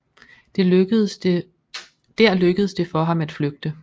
Der lykkedes det for ham at flygte